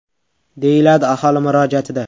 !”,deyiladi aholi murojaatida.